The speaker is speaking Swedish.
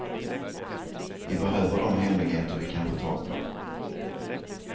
Vi behöver de hemligheter vi kan få tag på.